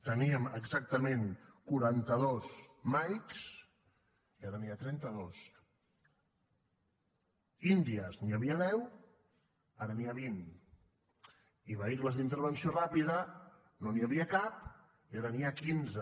teníem exactament quaranta dos mike i ara n’hi ha trenta dos d’india n’hi havia deu ara n’hi ha vint i de vehicles d’intervenció ràpida no n’hi havia cap i ara n’hi ha quinze